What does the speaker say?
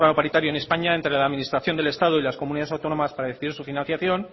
paritario en españa entre la administración del estado y las comunidades autónomas para decidir su financiación